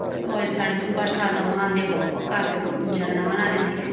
स्वे सर्दियों बरसात म आंद यखम क काफी झरणा ओणा रेंदी।